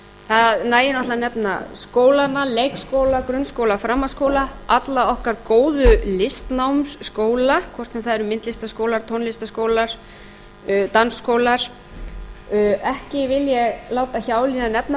það nægir náttúrlega að nefna skólana leikskóla grunnskóla framhaldsskóla alla okkar góðu listnámsskóla hvort sem það eru myndlistarskólar tónlistarskólar dansskólar ekki vil ég láta hjá líða að nefna